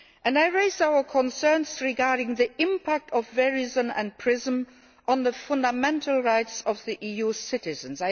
I raised our concerns regarding the impact of Verizon and PRISM on the fundamental rights of EU citizens.